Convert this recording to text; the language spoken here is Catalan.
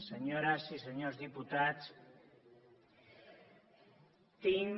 senyores i senyors diputats tinc